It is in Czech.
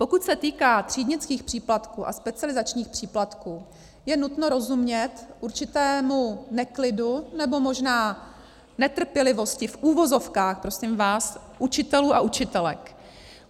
Pokud se týká třídnických příplatků a specializačních příplatků, je nutno rozumět určitému neklidu, nebo možná netrpělivosti, v uvozovkách prosím vás, učitelů a učitelek.